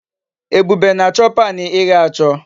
Ebube na-acho pan ighe acho